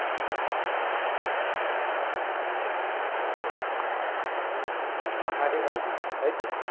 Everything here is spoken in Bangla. পাহাড়ে রাজি তাই তো?